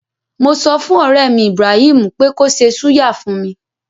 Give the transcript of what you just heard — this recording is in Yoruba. Mo sọfùn ọ̀rẹ́mi Ibraheem pé kó ṣe súyà fún mi.